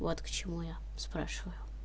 вот к чему я спрашиваю